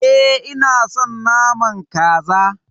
E, ina son naman Kaza.